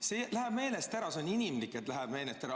See läheb meelest ära, see on inimlik, et läheb meelest ära.